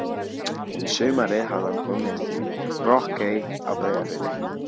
Um sumarið hafði hann komið í Brokey á Breiðafirði.